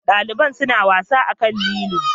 Daliban suna wasa akan lilo.